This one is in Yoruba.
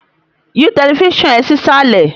Yí tẹlifísàn ẹ sísàlẹ̀